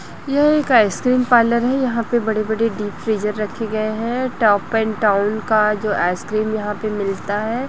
यह एक ice cream parlour है यहाँ पे बड़े-बड़े डीप फ्रीजर रखे गए है टॉप एंड टाउन का जो आइसक्रीम यहाँ पे मिलता है।